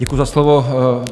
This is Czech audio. Děkuji za slovo.